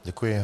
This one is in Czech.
Děkuji.